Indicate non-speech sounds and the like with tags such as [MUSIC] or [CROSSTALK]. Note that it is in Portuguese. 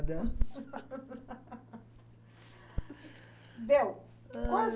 [UNINTELLIGIBLE] [LAUGHS] Bom, qual